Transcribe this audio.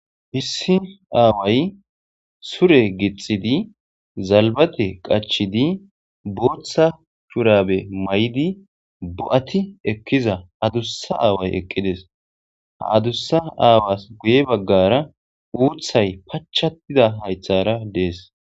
"Issi aaway sure gixxidi zalbate qachchidi bootha shurabe mayidi bo'ati ekkiza addussa aaway eqqides ha addussa aawas guye baggara uuthay pachachatida hayththara dees."